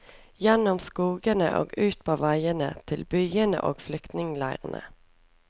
Gjennom skogene og ut på veiene, til byene og flyktningeleirene.